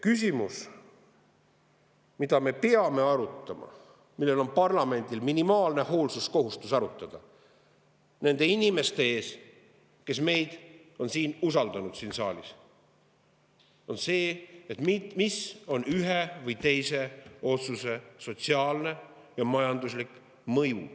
Küsimus, mida me peame arutama – parlamendil on minimaalne hoolsuskohustus nende inimeste ees, kes meid on usaldanud ja siia saali –, on see, mis on ühe või teise otsuse sotsiaalne ja majanduslik mõju.